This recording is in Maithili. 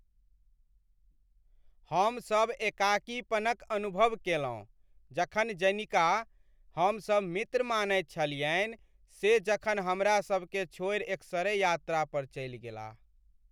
हम सब एकाकीपन क अनुभव केलहुँ जखन जनिका हमसब मित्र मानैत छलियनि से जखन हमरा सबकेँ छोड़ि एकसरे यात्रा पर चलि गेलाह ।